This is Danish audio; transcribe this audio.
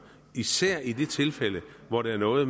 især i de tilfælde hvor det har noget at